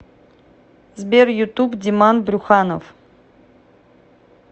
сбер ютуб диман брюханов